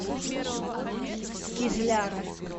кизляра